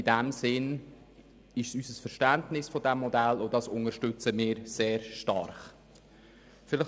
Dies ist unser Verständnis dieses Modells, welches wir sehr stark unterstützen.